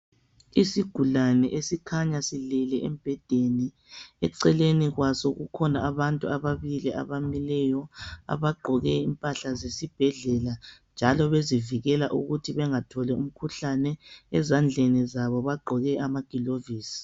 Isigulane esikhanya silele embhedeni eceleni kwaso kukhona abantu ababili abamileyo abagqoke impahla zesibhedlela njalo bezivikela ukuthi bengatholi umkhuhlane, ezandleni zabo bagqoke amagilovisi